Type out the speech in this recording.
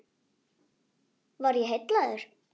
Var ég heillaður?